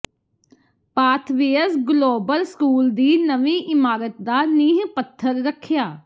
pathways global school ਦੀ ਨਵੀਂ ਇਮਾਰਤ ਦਾ ਨੀਂਹ ਪੱਥਰ ਰੱਖਿਆ